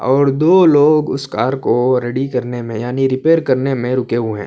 اور دو لوگ اس کار کو ریڈی کرنے میں یعنی ریپیئر کرنے میں روکے ہوئے ہیں.